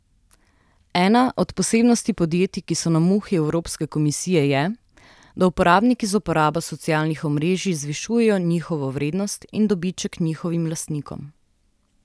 Ena od posebnosti podjetij, ki so na muhi evropske komisije, je, da uporabniki z uporabo socialnih omrežij zvišujejo njihovo vrednost in dobiček njihovim lastnikom.